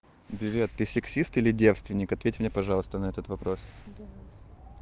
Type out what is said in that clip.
билет ты сексист или девственик ответь мне пожалуйста на этот вопрос